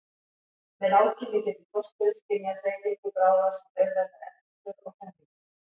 Með rákinni getur þorskurinn skynjað hreyfingu bráðar sem auðveldar eftirför og hremmingu.